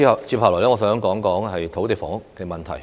接下來，我想談談土地房屋問題。